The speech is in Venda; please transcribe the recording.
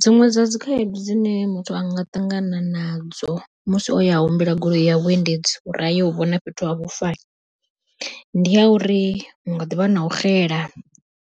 Dziṅwe dza dzi khaedu dzine muthu anga ṱangana nadzo musi o ya humbela goloi ya vhuendedzi uri ayo vhona fhethu ha vhufa, ndi ya uri hunga ḓivha na u xela